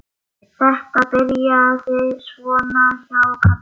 Þetta byrjaði svona hjá Kalla.